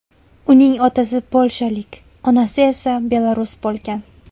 Uning otasi polshalik, onasi esa belarus bo‘lgan.